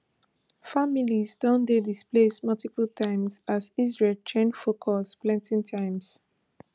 families don dey displaced multiple times as israel change focus plenti times